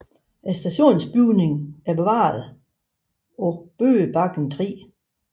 Stationsbygningen er bevaret på Bøgebakken 3